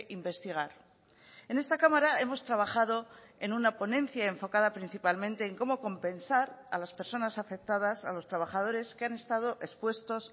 investigar en esta cámara hemos trabajado en una ponencia enfocada principalmente en cómo compensar a las personas afectadas a los trabajadores que han estado expuestos